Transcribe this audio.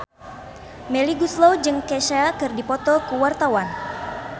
Melly Goeslaw jeung Kesha keur dipoto ku wartawan